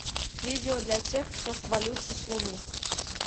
видео для тех кто свалился с луны